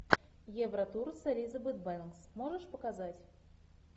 евротур с элизабет бэнкс можешь показать